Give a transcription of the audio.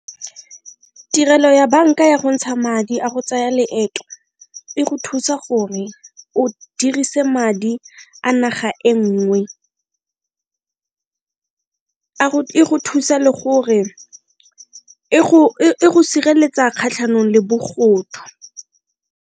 Tirelo ya banka ya go ntsha madi a go tsaya leeto e go thusa gore o dirise madi a naga e nngwe e go thusa le gore e go sireletsa kgatlhanong le bogodu.